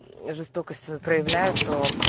жестокость свою проявляют то